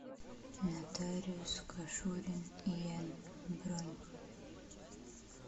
нотариус кашурин ин бронь